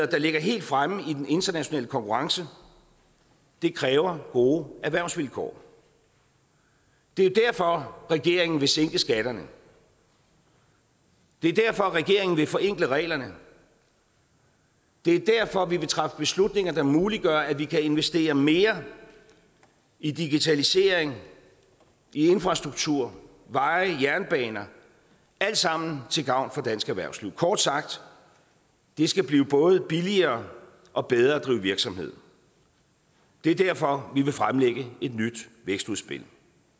der ligger helt fremme i den internationale konkurrence det kræver gode erhvervsvilkår det er derfor regeringen vil sænke skatterne det er derfor regeringen vil forenkle reglerne det er derfor vi vil træffe beslutninger der muliggør at vi kan investere mere i digitalisering infrastruktur veje jernbaner alt sammen til gavn for dansk erhvervsliv kort sagt det skal blive både billigere og bedre at drive virksomhed det er derfor vi vil fremlægge et nyt vækstudspil